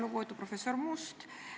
Lugupeetud professor Must!